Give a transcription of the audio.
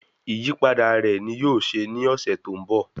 Ìyípadà rẹ ní yóò ṣe ní ọ̀sẹ̀ tó ń bọ̀